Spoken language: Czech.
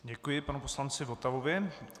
Děkuji panu poslanci Votavovi.